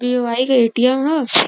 BOI. के ATM. ह।